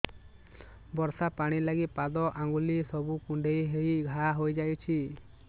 ବର୍ଷା ପାଣି ଲାଗି ପାଦ ଅଙ୍ଗୁଳି ସବୁ କୁଣ୍ଡେଇ ହେଇ ଘା ହୋଇଯାଉଛି